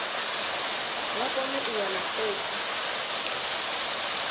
vha kone u wana khophi